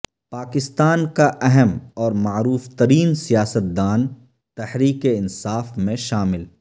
پاکستان کا اہم اور معروف ترین سیاستدان تحریک انصاف میں شامل